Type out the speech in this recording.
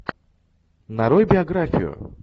нарой биографию